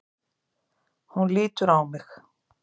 Hún lítur á mig.